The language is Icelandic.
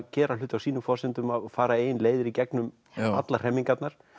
gera hluti á sínum forsendum og fara eigin leiðir í gegnum allar hremmingarnar